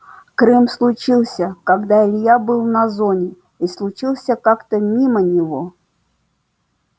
крым случился когда илья был на зоне и случился как-то мимо него